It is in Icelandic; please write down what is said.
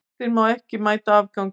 Ástin má ekki mæta afgangi.